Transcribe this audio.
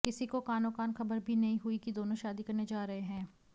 किसी को कानो कान खबर भी नहीं हुई कि दोनो शादी करने जा रहे हैं